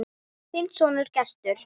Þinn sonur, Gestur.